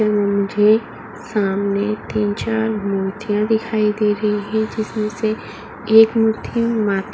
मुझे सामने तीन-चार मूर्तियां भी दिखाई दे रही है। जिसमें से एक मूर्ति मा --